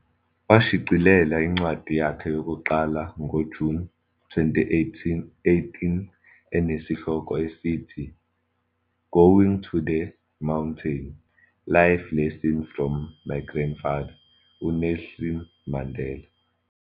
Washicilela incwadi yakhe yokuqala ngoJuni 2018 enesihloko esithi "Going to the Mountain- Life Lessons from My Grandfather, uNelson Mandela."